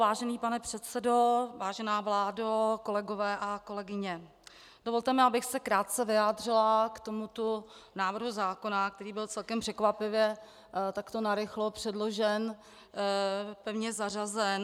Vážený pane předsedo, vážená vládo, kolegové a kolegyně, dovolte mi, abych se krátce vyjádřila k tomuto návrhu zákona, který byl celkem překvapivě takto narychlo předložen, pevně zařazen.